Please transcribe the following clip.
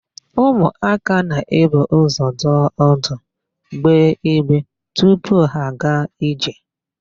Ụmụaka na-ebu ụzọ nọdụ ọdụ, gbee igbe tupu ha aga ije.